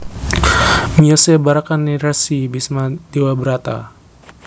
Miyosé barakané Resi Bisma Dewabrata